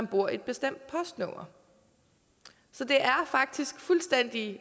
bor i et bestemt postnummer så det er faktisk fuldstændig